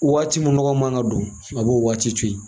Waati min nɔgɔ man ka don? a b'o waati to ye;